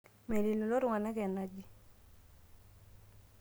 mening lelo tunganak enaji